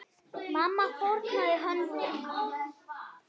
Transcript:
Mamma fórnaði höndum.